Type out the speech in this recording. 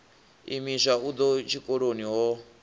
imiswa u ḓa tshikoloni ho